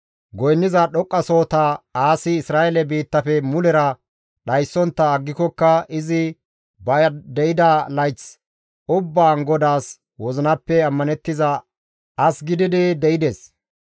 Goynniza dhoqqasohota Aasi Isra7eele biittafe mulera dhayssontta aggikokka izi ba de7ida layth ubbaan GODAAS wozinappe ammanettiza as gididi de7ides.